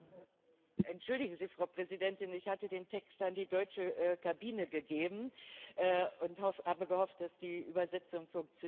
Entschuldigen Sie, Frau Präsidentin, ich hatte den Text an die deutsche Kabine gegeben und habe gehofft, dass die Übersetzung funktioniert.